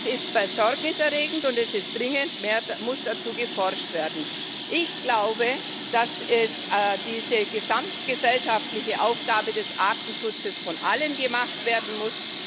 Das ist besorgniserregend, und es muss dringend mehr dazu geforscht werden. Ich glaube, dass diese gesamtgesellschaftliche Aufgabe des Artenschutzes von allen gemacht werden muss.